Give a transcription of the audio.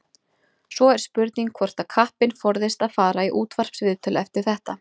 Svo er spurning hvort að kappinn forðist að fara í útvarpsviðtöl eftir þetta.